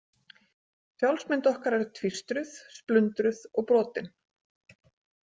Sjálfsmynd okkar er tvístruð, splundruð og brotin.